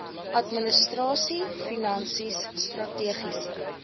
administrasie finansies strategiese